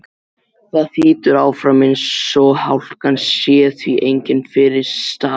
Það þýtur áfram eins og hálkan sé því engin fyrirstaða.